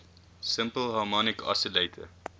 simple harmonic oscillator